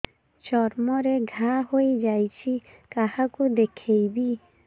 ଚର୍ମ ରେ ଘା ହୋଇଯାଇଛି କାହାକୁ ଦେଖେଇବି